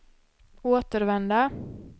återvända